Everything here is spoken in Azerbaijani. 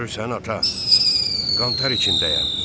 Görürsən, ata, qantar içindəyəm.